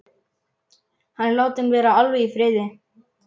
Hann er látinn vera alveg í friði.